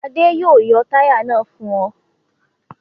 Adé yóò yọ táyà náà fún ọ.